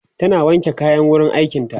tana wanke kayan wurin aikin ta